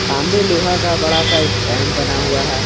सामने लोहा का बड़ा सा स्टैंड बना हुआ है।